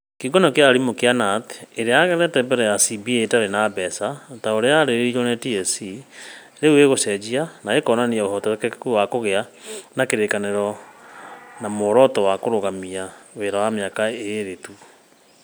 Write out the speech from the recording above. Kiũngano kĩa arimũ Kenya Knut, ĩrĩa yaregete mbere ĩyo CBA ĩtarĩ na mbeca ta ũrĩa yarĩrĩirio nĩ TSC, rĩu nĩ ĩgũcenjia na ĩkĩonania ũhotekeku wa kũgĩa na kĩrĩkanĩro na muoroto wa kũrũgamia wĩra mĩaka ĩĩrĩ tu.